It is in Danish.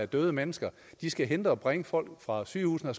døde mennesker og de skal hente og bringe folk fra sygehusene og